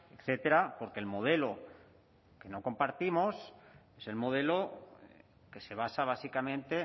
etcétera porque el modelo que no compartimos es el modelo que se basa básicamente